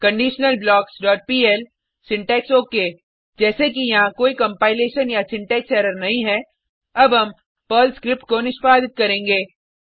conditionalblocksपीएल syntax okay जैसे कि यहाँ कोई कंपाइलेशन या सिंटेक्स एरर नहीं है अब हम पर्ल स्क्रिप्ट को निष्पादित करेंगे